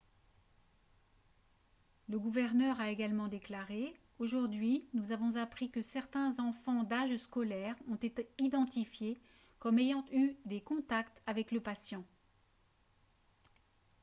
le gouverneur a également déclaré :« aujourd'hui nous avons appris que certains enfants d'âge scolaire ont été identifiés comme ayant eu des contacts avec le patient. »